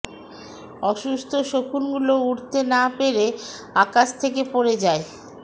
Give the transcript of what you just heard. অসুস্থ শকুনগুলো উড়তে না পেরে আকাশ থেকে পড়ে যায়